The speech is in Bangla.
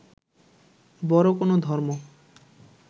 বড় কোন ধর্ম